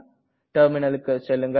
terminalக்கு செல்லுங்கள்